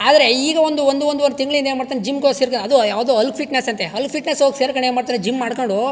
ಆದ್ರೆ ಈಗ ಒಂದು ಒಂದುವರೆ ತಿಂಗಳಿಂದ ಏನ್ ಮಾಡತ್ತನೆ ಜಿಮ್ ಹೋಗ್ ಸೇರ್ಕೊ ಅದು ಯಾವದೋ ಹಲ್ಲ ಫಿಟ್ ನೆಸ್ ಅಂತೆ ಹಲ್ಲ ಫಿಟ್ ನೆಸ್ ಹೋಗಿ ಸೆರಕೊಂಡ್ ಏನ್ ಮಾಡತ್ತರೆ ಜಿಮ್ ಮಾಡಕೊಂಡು--